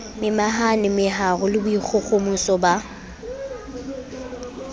momahane meharo le boikgohomoso ba